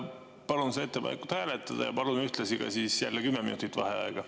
Palun seda ettepanekut hääletada ja palun ühtlasi ka 10 minutit vaheaega.